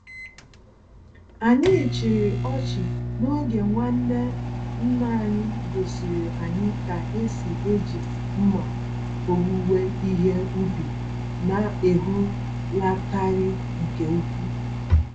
Anyị chịrị ọchị n'oge nwanne nna anyị gosiri anyị ka esi eji mma owuwe ihe ubi, na-ehulataghị nke úkwú.